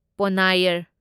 Ponnaiyar